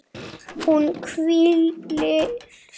Hún hvílir sig.